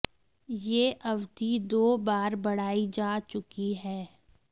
यह अवधि दो बार बढ़ाई जा चुकी है